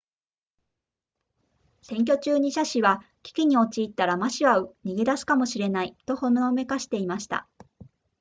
選挙中に謝氏は危機に陥ったら馬氏は逃げ出すかもしれないとほのめかしていました